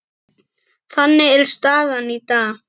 Þannig er staðan í dag.